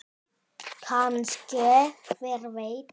Kannske- hver veit?